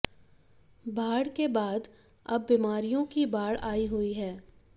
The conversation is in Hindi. बाढ़ के बाद अब बीमारियों की बाढ़ आई हुई है